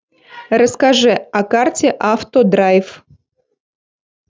расскажи о карте автодрайв